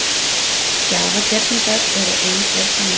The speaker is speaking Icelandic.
Gjafagerningar eru ein gerð samninga.